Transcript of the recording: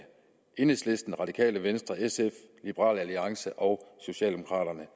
enhedslisten det radikale venstre sf liberal alliance og socialdemokraterne